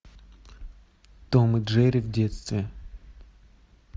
том и джерри в детстве